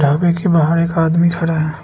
ढाबे के बाहर एक आदमी खड़ा है।